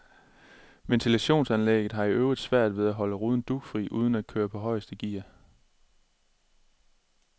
Ventilationsanlægget har i øvrigt svært ved at holde ruden dugfri uden at køre på højeste gear.